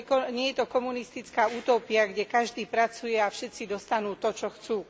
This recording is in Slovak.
Nie je to komunistická utópia, kde každý pracuje a všetci dostanú to, čo chcú.